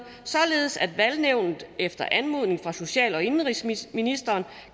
således at valgnævnet efter anmodning fra social og indenrigsministeren